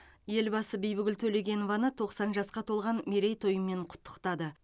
елбасы бибігүл төлегенованы тоқсан жасқа толған мерейтойымен құттықтады